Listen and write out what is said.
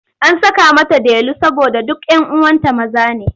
An saka mata Delu saboda duk 'yan uwanta maza ne.